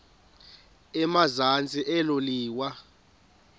emazantsi elo liwa